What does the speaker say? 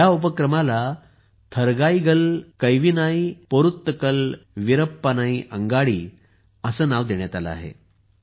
या उपक्रमाला थरगाईगल कैविनाई पोरुत्तकल वीरप्पानई अंगडी असे नाव देण्यात आले आहे